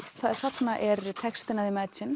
þarna er textinn af